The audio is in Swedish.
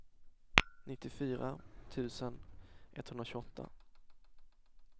nittiofyra tusen etthundratjugoåtta